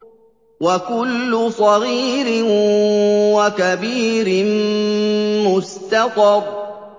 وَكُلُّ صَغِيرٍ وَكَبِيرٍ مُّسْتَطَرٌ